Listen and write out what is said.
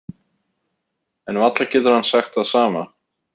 En varla getur hann sagt það sama.